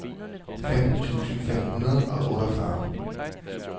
femten tusind fem hundrede og otteogfyrre